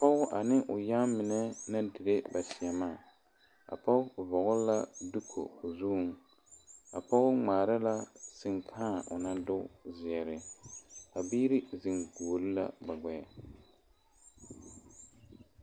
Pɔge ane o yaŋmine naŋ diire ba seɛmaa a pɔge vɔgle la doko o zuŋ a pɔge ŋmaara la senkãã o naŋ doko ziɛre a biiri zeŋ gɔgle la ba gbeɛ.